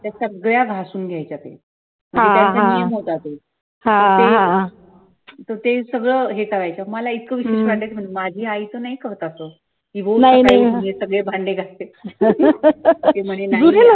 त्या सगळ्याघासून घ्यायच्या ग्लास ते सगळं इतका करायचं मला विचित्र वाटायचं म्हणजे माझी आई तर नाही करत हे सगळं हे सगळे भांडे घासते